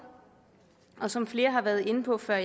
som flere har været inde på før